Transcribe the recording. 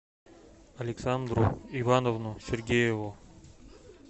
александру ивановну сергееву